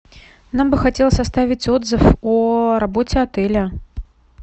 нам бы хотелось оставить отзыв о работе отеля